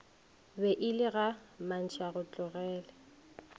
be e le ga mantšhaotlogele